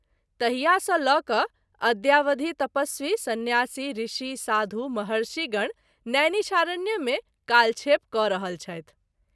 तहिया सँ ल’ क’ अद्यावधि तपस्वी, सन्यासी, ऋषि , साधू, महर्षि गण नैनिषारण्य में कालक्षेप क’ रहल छथि।